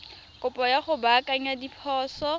kopo ya go baakanya diphoso